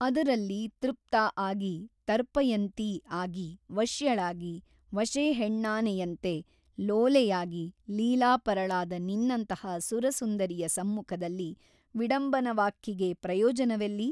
ಅದರಲ್ಲಿ ತೃಪ್ತಾ ಆಗಿ ತರ್ಪಯಂತೀ ಆಗಿ ವಶ್ಯಳಾಗಿ ವಶೇಹೆಣ್ಣಾನೆಯಂತೆ ಲೋಲೆಯಾಗಿ ಲೀಲಾಪರಳಾದ ನಿನ್ನಂತಹ ಸುರಸುಂದರಿಯ ಸಮ್ಮುಖದಲ್ಲಿ ವಿಡಂಬನವಾಕ್ಕಿಗೆ ಪ್ರಯೋಜನವೆಲ್ಲಿ?